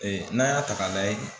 Ee n'an y'a ta k'a lajɛ